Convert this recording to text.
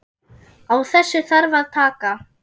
Á þessu þarf að taka.